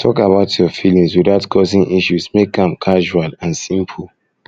talk about your feelings without causing issues make am casual and simple